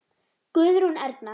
Guðrún Erna.